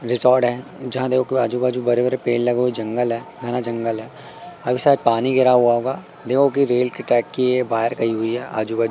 resort है जहां देखो आजू बाजू बड़े बड़े पेड़ लगे हुए हैं जंगल है घना जंगल है अभी शायद पानी गिरा हुआ होगा देखो की रेल की ट्रैक की ये वायर गई हुईं हैं आजू बाजू--